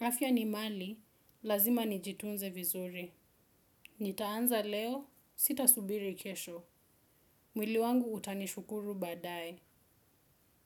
Afya ni mali, lazima nijitunze vizuri. Nitaanza leo, sita subiri kesho. Mwili wangu utanishukuru baadaye.